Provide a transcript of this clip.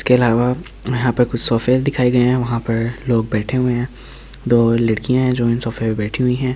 इसके अलावा यहाँ पर कुछ सोफे दिखाई गई है वहाँ पर लोग बैठे हुए हैं दो लड़कियां हैं जो इन सोफे पे बैठी हुई है।